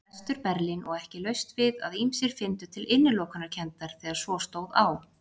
Vestur-Berlín og ekki laust við að ýmsir fyndu til innilokunarkenndar þegar svo stóð á.